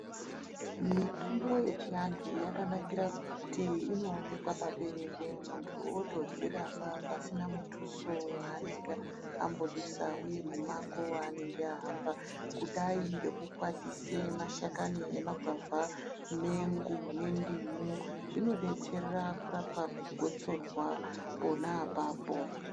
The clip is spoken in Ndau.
Mitombo yechivantu yakanakira kuti inoonekwa paberere muntu otodzirapa pasina muthuso waanenge ambodusa uye mumango waanenge ahamba kudai ngekukwatise mashakani emagwavha mengo nendimo zvinobetsera kurapa gosorwa pona apapo.